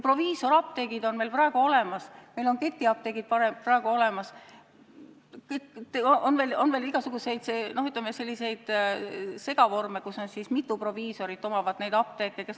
Proviisoriapteegid on meil praegu olemas, ketiapteegid on meil praegu olemas, on veel igasuguseid segavorme, mille korral mitu proviisorit omab mõnd apteeki.